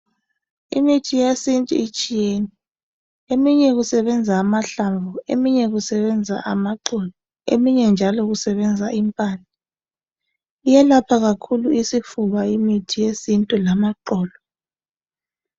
Imithi yesintu itshiyene. Eminye kusebenza amahlamvu, eminye kusebenza amaxolo eminye njalo kusebenza impande. Iyelapha kakhulu isifuba imithi yesintu lamaxolo.